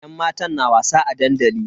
Yan matan na wasa a dandali.